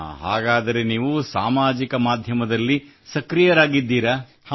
ಹಾಂ ಹಾಗಾದರೆ ನೀವು ಸಾಮಾಜಿಕ ಮಾಧ್ಯಮದಲ್ಲಿ ಸಕ್ರಿಯರಾಗಿದ್ದೀರಾ